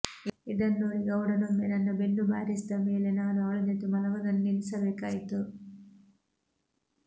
ಇದನ್ನು ನೋಡಿ ಗೌಡನೊಮ್ಮೆ ನನ್ನ ಬೆನ್ನು ಬಾರಿಸಿದ ಮೇಲೆ ನಾನು ಅವಳ ಜೊತೆ ಮಲಗುವುದನ್ನು ನಿಲ್ಲಿಸಬೇಕಾಯಿತು